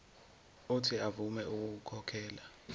uuthi avume ukukhokhela